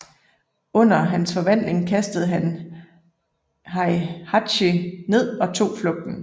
Under hans forvandling kastede han Heihachi ned og tog flugten